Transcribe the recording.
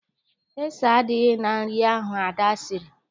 Ese adịghị na nri ahụ Ada siri